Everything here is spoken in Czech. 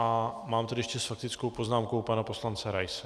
A mám tady ještě s faktickou poznámkou pana poslance Raise.